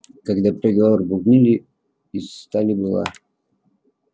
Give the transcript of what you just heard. когда приговор бубнили из стали была